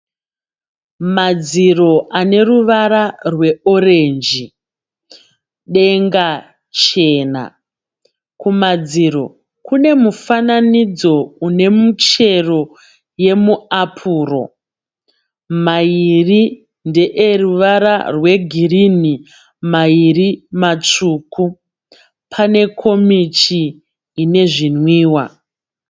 Madziro ane ruvara rweorenji. Denga chena. Kumadziro kune mufananidzo une muchero wemuapuri. Mairi ndeeruvara rwegirinhi mairi matsvuku. Pane komichi ine zvinwiwa.